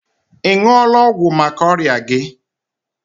Ị ṅụọla ọgwụ maka ọrịa gi?